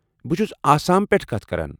بہٕ چُھس آسام پٮ۪ٹھٕ کتھ کران۔